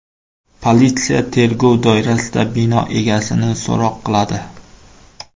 Politsiya tergov doirasida bino egasini so‘roq qiladi.